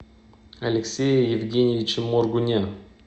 алексее евгеньевиче моргуне